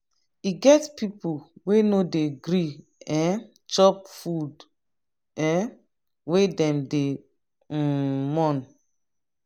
e get pipu wey no dey gree um chop food um wen dem dey um mourn.